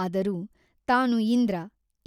ಆದರೂ ತಾನು ಇಂದ್ರ